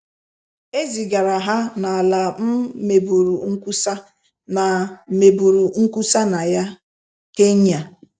E zigara ha n’ala m meburu nkwusa na meburu nkwusa na ya — Kenya.